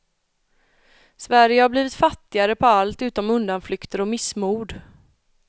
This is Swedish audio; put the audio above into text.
Sverige har blivit fattigare på allt utom undanflykter och missmod.